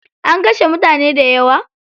An kashe mutane dayawa?